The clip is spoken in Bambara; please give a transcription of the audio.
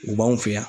U b'anw fɛ yan